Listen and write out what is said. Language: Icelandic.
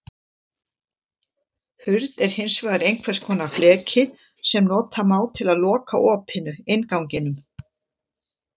Hurð er hins vegar einhvers konar fleki sem nota má til að loka opinu, innganginum.